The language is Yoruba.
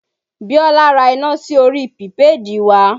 Biola ra iná sí orí pìpéèdì wa